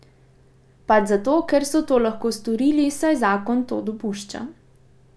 Pač zato, ker so to lahko storili, saj zakon to dopušča.